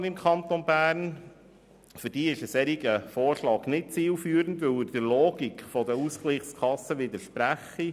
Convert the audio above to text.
Für die Sozialpartner im Kanton Bern ist der Vorschlag nicht zielführend, weil er der Logik der Ausgleichskassen widerspricht.